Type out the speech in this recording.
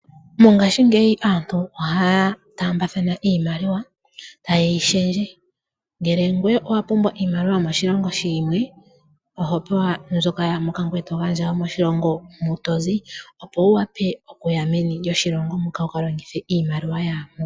Mongashingeyi aantu ohaya tambathana iimaliwa taye yi shendje ngele ngoye owa pumbwa iimaliwa yomoshilongo shimwe oho gandja ngoye to pewa mutoyi opo wu wape okuya meni wu kalongithe iimaliwa ya moka.